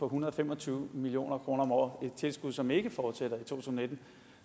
hundrede og fem og tyve million kroner om året et tilskud som ikke fortsætter to tusind og nitten